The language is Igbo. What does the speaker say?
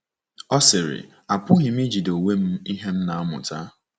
Ọ sịrị: Apụghị m ijide onwe m ihe m na-amụta.